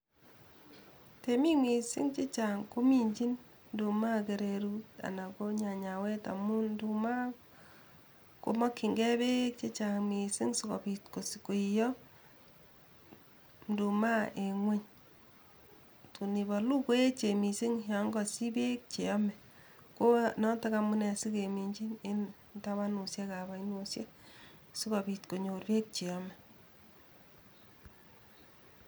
Temik mising chechang kominjin Nduma kererut anan ko nyanyawet amun nduma komakyingei beek chechang mising sikobiit koiyo nduma en ngueny, tun ibolu koechen mising yon kosich beek che yome ko noto amunee sikeminjin tabanusiekab ainosiek sikobiit konyor beek cheyome.